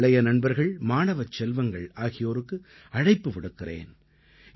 என் இளைய நண்பர்கள் மாணவச் செல்வங்கள் ஆகியோருக்கு அழைப்பு விடுக்கிறேன்